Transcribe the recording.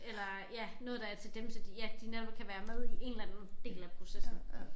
Eller ja noget der er til dem så de ja de netop kan være med i en eller anden del af processen